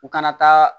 U kana taa